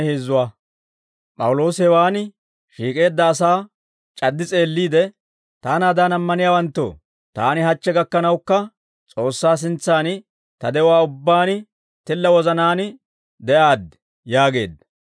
P'awuloosi hewaan shiik'eedda asaa c'addi s'eelliide, «Taanaadan ammaniyaawanttoo, taani hachche gakkanawukka S'oossaa sintsan ta de'uwaa ubbaan tilla wozanaan de'aaddi» yaageedda.